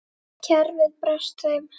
Kerfið brást þeim.